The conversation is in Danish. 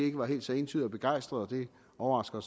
ikke var helt så entydig og begejstret og det overrasker